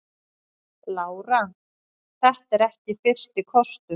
Lára: Það er ekki fyrsti kostur?